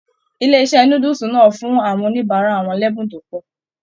Ilé iṣẹ núdúsí náà fún àwọn oníbárà wọn l'ẹ́bùn tó pọ̀.